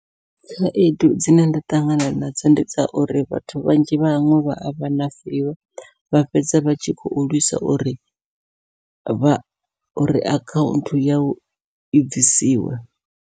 Khaedu dzine nda ṱangana nadzo ndi dza uri, vhathu vhanzhi vhaṅwe vha avha na vivho vha fhedza vha tshi khou lwisa uri vha uri akhaunthu yau i bvisiwe.